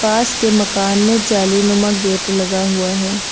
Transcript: पास के मकान में गेट लगा हुआ है।